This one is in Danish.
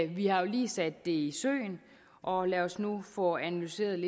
vi har jo lige sat det i søen og lad os nu få analyseret